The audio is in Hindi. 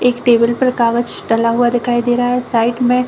एक टेबल पर एक कागज डला हुआ दिखाई दे रहा है साइड में --